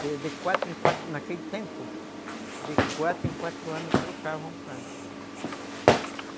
De quatro em quatro, naquele tempo, de quatro em quatro anos trocavam o padre, uhum.